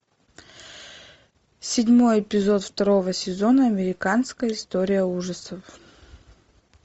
седьмой эпизод второго сезона американская история ужасов